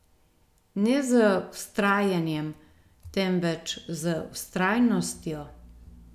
Ne z vztrajanjem, temveč z vztrajnostjo!